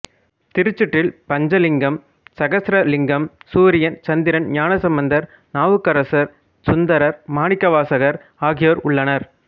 திருச்சுற்றில் பஞ்ச லிங்கம் சகஸ்ர லிங்கம் சூரியன் சந்திரன் ஞானசம்பந்தர் நாவுக்கரசர் சுந்தரர் மாணிக்கவாசகர் ஆகியோர் உள்ளனர்